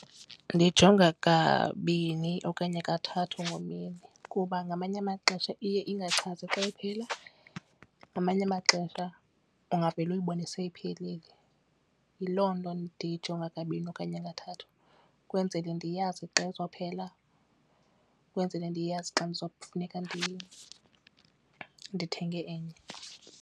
Ndiyijonga kabini okanye kathathu ngemini kuba ngamanye amaxesha iye ingachazi xa iphela ngamanye amaxesha ungavele uyibone seyiphelile. Yiloo nto ndiyijonga kabini okanye kathathu ukwenzele ndiyazi xa izophela ukwenzele ndiyazi xa ndiza kufuneka ndithenge enye.